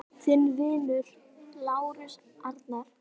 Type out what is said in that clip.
Þinn vinur, Lárus Arnar.